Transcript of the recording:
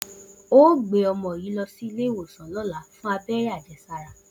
O óò gbé o̩mo̩ yìí lo̩ sí ilé ìwòsàn ló̩la fún abé̩ré̩ àje̩sára!